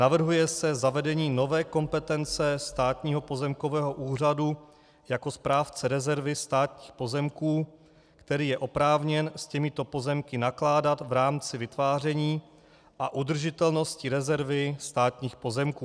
Navrhuje se zavedení nové kompetence Státního pozemkového úřadu jako správce rezervy státních pozemků, který je oprávněn s těmito pozemky nakládat v rámci vytváření a udržitelnosti rezervy státních pozemků.